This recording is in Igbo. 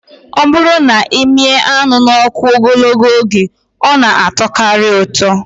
Ọ bụrụ na ị mịa anụ n'ọkụ ogologo oge, ọ na atọkarị ụtọ